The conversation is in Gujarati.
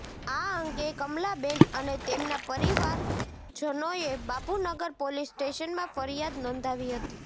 આ અંગે કમલાબેન અને તેમના પરિવારજનોએ બાપુનગર પોલીસસ્ટેશનમાં ફરિયાદ નોંધાવી હતી